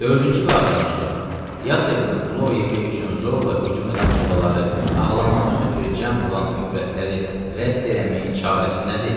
Dördüncü və axırıncı sual: Ya sevincə qulağılov yeyib, plov yemək üçün zorla hücum edən mollaları ağlamaqdan ötrü cəm olan övrətləri rədd eləməyin çarəsi nədir?